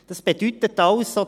Das bedeutet also: